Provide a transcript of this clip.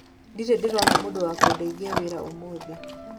ndirĩ ndĩrona mũndũ wa kũndeithia wĩra ũmũthĩ